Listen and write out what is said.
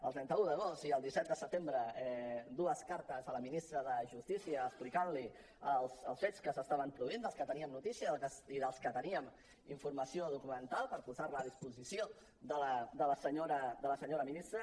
el trenta un d’agost i el disset de setembre dues cartes a la ministra de justícia explicant li els fets que s’estaven produint dels quals teníem notícia i dels quals teníem informació documental per posar la a disposició de la senyora ministra